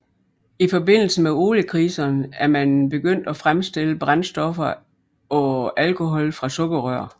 I forbindelse med oliekriserne er man begyndt at fremstille brændstoffer af alkohol fra sukkerrør